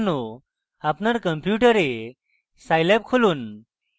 আপনার কম্পিউটারে scilab খুলুন